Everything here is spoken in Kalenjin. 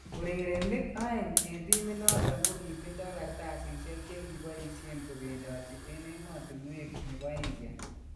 Urerenik aeng en timiit noton kokitindoo kartsasisyeek chekiboisyeen kebendotii en emotunweek nebo India